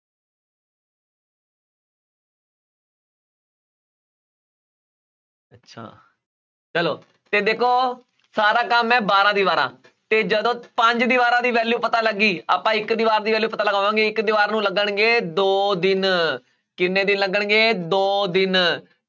ਅੱਛਾ ਚਲੋ ਤੇ ਦੇਖੋ ਸਾਰਾ ਕੰਮ ਹੈ ਬਾਰਾਂ ਦੀਵਾਰਾਂ ਤੇ ਜਦੋਂ ਪੰਜ ਦੀਵਾਰਾਂ ਦੀ value ਪਤਾ ਲੱਗ ਗਈ ਆਪਾਂ ਇੱਕ ਦੀਵਾਰ ਦੀ value ਪਤਾ ਲਗਾਵਾਂਗੇ ਇੱਕ ਦੀਵਾਰ ਨੂੰ ਲੱਗਣੇ ਦੋ ਦਿਨ ਕਿੰਨੇ ਦਿਨ ਲੱਗਣਗੇ ਦੋ ਦਿਨ